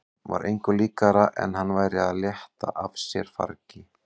Var engu líkara en hann væri að létta af sér fargi.